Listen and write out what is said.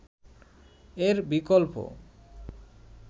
এর বিকল্প